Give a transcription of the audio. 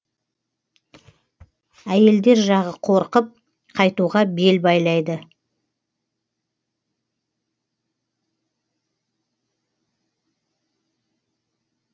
әйелдер жағы қорқып қайтуға бел байлайды